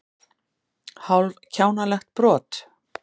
Hálf kjánalegt brot.